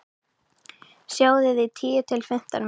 Sjóðið í tíu til fimmtán mínútur.